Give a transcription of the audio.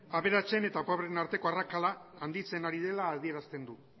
aberatsen eta pobreen arteko arrakala handitzen ari dela adierazten du